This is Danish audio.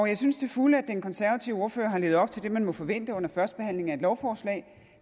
jeg synes til fulde at den konservative ordfører har levet op til det man må forvente under førstebehandlingen af et lovforslag